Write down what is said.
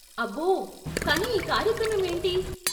అబ్బో! కానీ ఈ కార్యక్రమం ఏంటి?